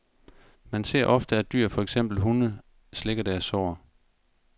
Man ser ofte, at dyr, for eksempel hunde, slikker deres sår.